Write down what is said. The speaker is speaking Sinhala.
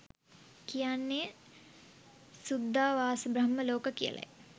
කියන්නේ සුද්ධාවාසබ්‍රහ්ම ලෝක කියලයි.